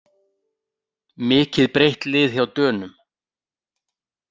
Mikið breytt lið hjá Dönum